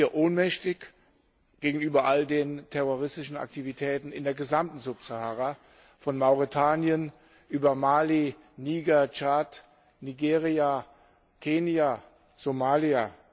Sind wir ohnmächtig gegenüber all den terroristischen Aktivitäten in der gesamten Subsahara von Mauretanien über Mali, Niger, Tschad, Nigeria, Kenia, Somalia?